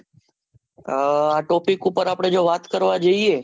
આ topic ઉપર આપડે જે વાત કરવા જોઈએ